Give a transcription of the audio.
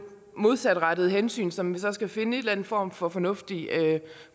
modsatrettede hensyn som vi så skal finde en eller anden form for fornuftig